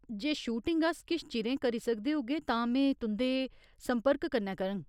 जे shooting अस किश चिरें करी सकदे होगे तां में तुं'दे संपर्क कन्नै करङ।